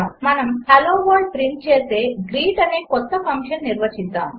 మనము hello world print చేసే greet అనే క్రొత్త ఫంక్షన్ నిర్వచిద్దాము